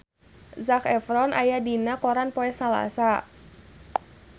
Zac Efron aya dina koran poe Salasa